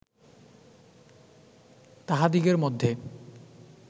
তাহাদিগের মধ্যে